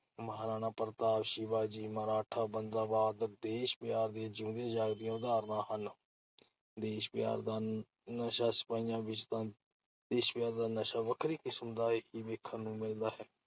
ਮਹਾਰਾਣਾ ਪ੍ਰਤਾਪ, ਸ਼ਿਵਾ ਜੀ ਮਰਾਠਾ, ਬੰਦਾ ਬਹਾਦਰ ਦੇਸ਼-ਪਿਆਰ ਦੀਆਂ ਜਿਊਂਦੀਆਂ ਜਾਗਦੀਆਂ ਉਦਾਹਰਨਾਂ ਹਨ। ਦੇਸ਼ ਪਿਆਰ ਦਾ ਨਸ਼ਾ- ਸਿਪਾਹੀਆਂ ਵਿੱਚ ਤਾਂ ਦੇਸ਼ ਪਿਆਰ ਦਾ ਨਸ਼ਾ ਵੱਖਰੀ ਕਿਸਮ ਦਾ ਹੀ ਵੇਖਣ ਨੂੰ ਮਿਲਦਾ ।